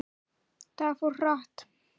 Það fór hratt.